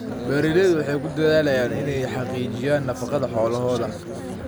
Beeraleydu waxay ku dadaalaan inay xaqiijiyaan nafaqada xoolahooda.